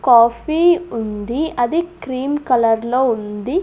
Coffee ఉంది అది cream కలర్లో ఉంది.